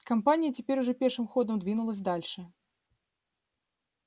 компания теперь уже пешим ходом двинулась дальше